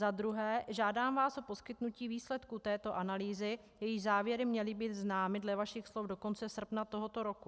Za druhé, žádám vás o poskytnutí výsledků této analýzy, jejíž závěry měly být známy dle vašich slov do konce srpna tohoto roku.